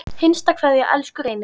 HINSTA KVEÐJA Elsku Reynir.